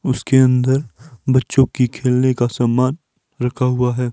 उसके अंदर बच्चों की खेलने का सामान रखा हुआ है।